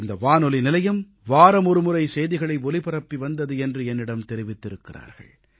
இந்த வானொலி நிலையம் வாரமொரு முறை செய்திகளை ஒலிபரப்பி வந்தது என்று என்னிடம் தெரிவித்திருக்கிறார்கள்